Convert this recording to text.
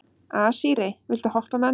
Asírí, viltu hoppa með mér?